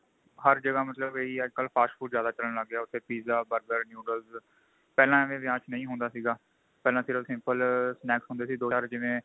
ਹਰ ਜਗ੍ਹਾ ਅੱਮਤਲਬ ਇਹੀ ਏ fast food ਜਿਆਦਾ ਚੱਲਣ ਲੱਗ ਗਿਆ ਉੱਥੇ pizza burger noodles ਪਹਿਲਾਂ ਏਵੈ ਵਿਆਹ ਚ ਨਹੀਂ ਹੁੰਦਾ ਸੀਗਾ ਪਹਿਲਾਂ ਸਿਰਫ simple snack ਹੁੰਦੇ ਸੀ ਦੋ ਚਾਰ ਜਿਵੇਂ